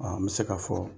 n bɛ se k'a fɔ